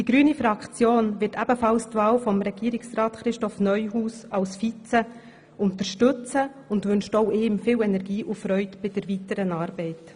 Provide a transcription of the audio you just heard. Die grüne Fraktion wird ebenfalls die Wahl von Regierungsrat Christoph Neuhaus zum Regierungsvizepräsidenten unterstützen und wünscht auch ihm viel Energie und Freude bei der weiteren Arbeit.